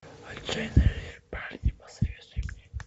отчаянные парни посоветуй мне